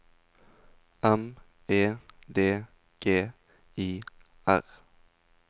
M E D G I R